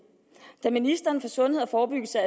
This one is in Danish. da ministeren for sundhed og forebyggelse